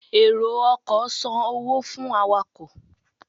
ero-ọkọ san owo fún awakọ.